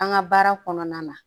An ka baara kɔnɔna na